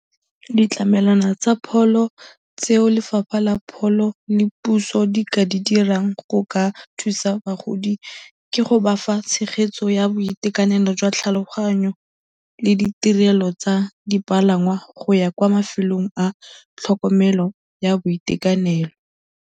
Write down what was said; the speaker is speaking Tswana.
Ditlamelwana tsa pholo tseo lefapha la pholo le puso di ka di dirang go ka thusa bagodi ke go ba fa tshegetso ya boitekanelo jwa tlhaloganyo le ditirelo tsa dipalangwa go ya kwa mafelong a tlhokomelo ya boitekanelo.